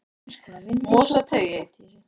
Mosateigi